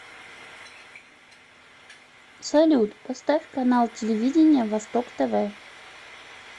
салют поставь канал телевидения восток тв